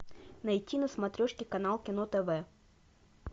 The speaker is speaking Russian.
найти на смотрешке канал кино тв